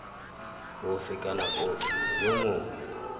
ofe kana ofe yo mongwe